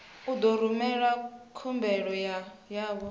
u ḓo rumela khumbelo yavho